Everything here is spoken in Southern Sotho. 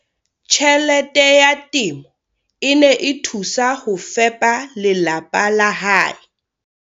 Tjhelete ya temo e ne e thusa ho fepa lelapa la hae.